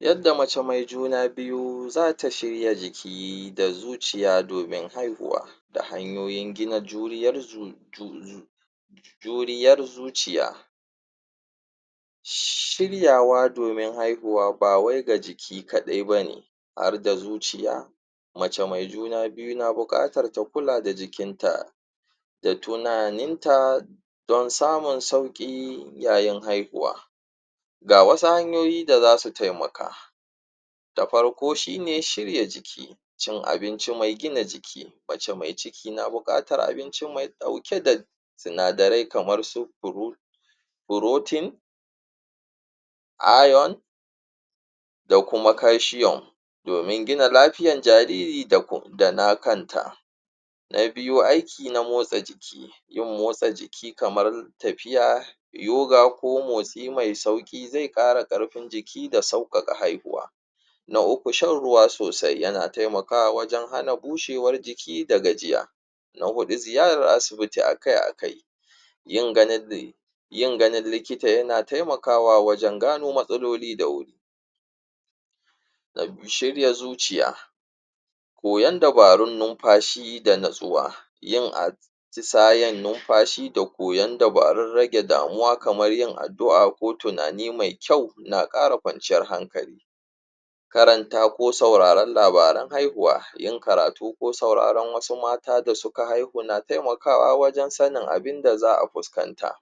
yadda mace me juna biyu zata shirya jiki da zuciya domin haihuwa da hanyoyin gina juriyar zuciya shiryawa domin haihuwaba bawai ga jiki kaɗai bane har da zuciya mace mai juna biyu na buƙatar ta kula da jikinta da tunaninta don samun sauƙi domin haihuwa ga wasu hanyoyi da zasu taimaka da farko shine shirya jiki cin abinci me gina giji mace mai cikia na buƙatar mai ɗauke da sinadarai kamarsu protein iron da kuma calcium domin gina lafiyan jariri dana kanta na biyu aiki na motsa jiki yin motsa jiki kamar tafiya yuga ko motsai me sauƙi zai ƙara karfin jiki da ƙarfafa haihuwa na uku shan ruwa sosai yana hana bushewar jiki da gajiya na huɗu ziyarar asibiti akai akai yin ganan likita yana taimakawa wajan gano matsaloli da wuri na biyu shirya zuciya koyan dabarun nunfashi da nutsuwa yin atisayan nunfashi da koyan dabarun rage damuwa kamar yin addu'a ko tunani me kyau na ƙara ƙwanciyaer hankali karantawa ko sauraran labaran haihuwa yin karatu ko sauraran wasu mata da suka haihu na taimaka wa wajan sanin abunda za a fuskanta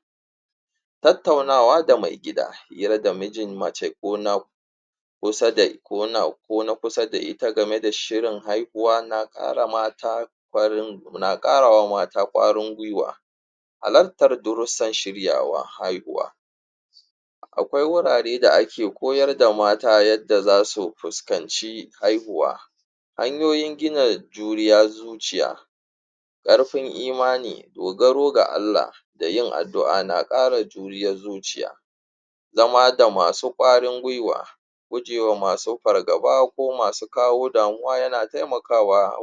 tattaunawa da me gida hira da mijin mace ko na kusa da da ita game da shirin haihuwa na ƙarawa mata ƙwarin gwiwa halattar durusa shiryawa haihuwa aƙwai wurarai da ake koyar da mata darussan haihuwa hanyoyin gina juriya zuciya ƙarfin zuciya dogaru ga Allah da yin addu'a na ƙara juriyar zuciya zama da masu ƙwarin gwiwa gujewa masu fargaba ko masu kawo damuwa yana taimakawa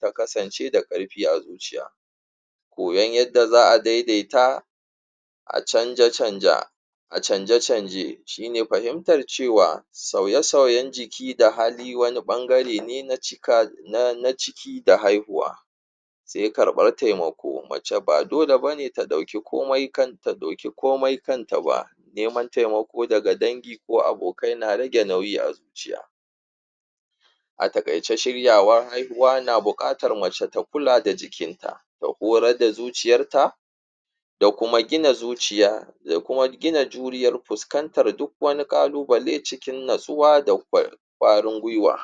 takasance da ƙarfi a ko yan yadda za a daidaita a canje canje shine fahimtar cewa sauye sauyan jiki da hali wani ɓangare ne na ciki da haihuwa sai ƙarɓar taimako mace ba dole bane ta ɗauki komai kanta ba neman taimako daga dangi ko abokai na rage nauyi a zuciya a taƙaice shiryawan haihuwa na buƙatar mace ta kula da jikinta da horar da zuciyarta da kuma gina zuciya da kuma gina juriyar fuskantar duk wani ƙalubale cikin nutsuwa da ƙwarin gwiwa